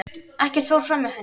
Ekkert fór framhjá henni.